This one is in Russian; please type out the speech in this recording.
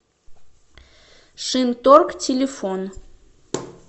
шинторг телефон